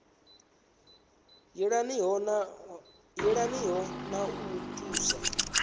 yelaniho na wa u thusa